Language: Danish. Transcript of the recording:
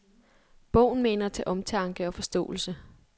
Bogen maner til omtanke og forståelse.